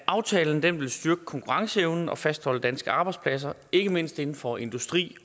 aftalen vil styrke konkurrenceevnen og fastholde danske arbejdspladser ikke mindst inden for industri